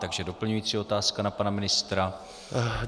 Takže doplňující otázka na pana ministra.